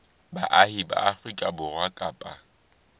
baahi ba afrika borwa kapa